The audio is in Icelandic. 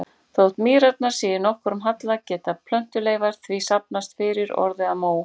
Þótt mýrarnar séu í nokkrum halla geta plöntuleifar því safnast fyrir og orðið að mó.